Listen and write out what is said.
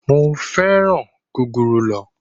Mo féràn gúgúrú lọ.